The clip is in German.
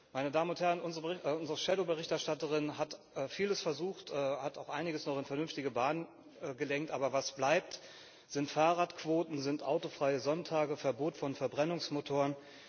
Meine Damen und Herren, unsere Schattenberichterstatterin hat vieles versucht, hat auch einiges in vernünftige Bahnen gelenkt, aber was bleibt, sind Fahrradquoten, sind autofreie Sonntage, das Verbot von Verbrennungsmotoren.